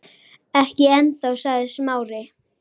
Ekki ennþá- sagði Smári.